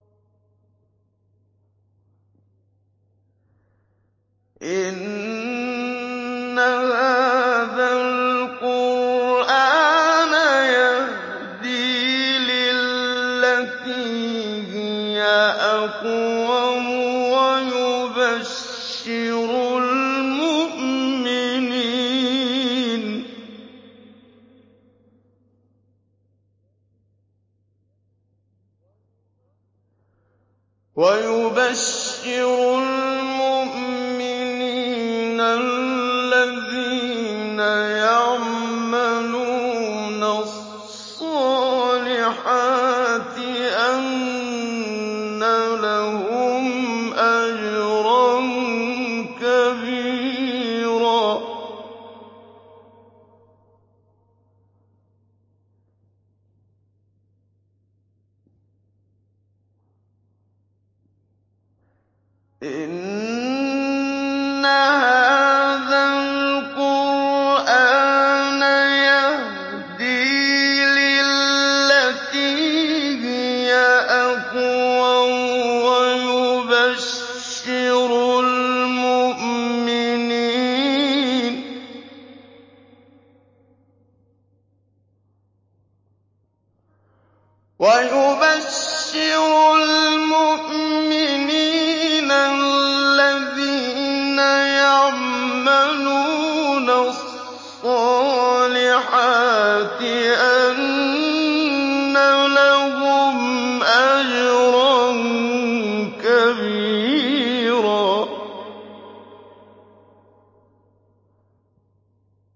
إِنَّ هَٰذَا الْقُرْآنَ يَهْدِي لِلَّتِي هِيَ أَقْوَمُ وَيُبَشِّرُ الْمُؤْمِنِينَ الَّذِينَ يَعْمَلُونَ الصَّالِحَاتِ أَنَّ لَهُمْ أَجْرًا كَبِيرًا